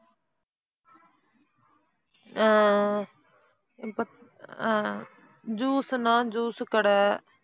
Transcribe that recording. ஆஹ் அஹ் அஹ் ஆஹ் juice ன்னா juice கடை